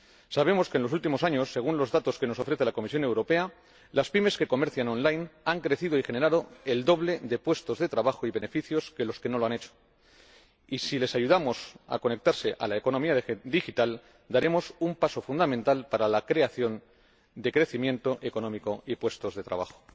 Sabemos que en los últimos años, según los datos que nos ofrece la Comisión Europea, las PYME que comercian en línea han crecido y generado el doble de puestos de trabajo y beneficios que las que no lo han hecho, y si las ayudamos a conectarse a la economía digital, daremos un paso fundamental para la creación de crecimiento económico y puestos de trabajo.